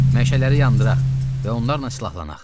Məşəlləri yandıraq və onlarla silahlanaq.